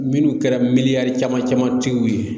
Minnu kɛra caman caman tigiw ye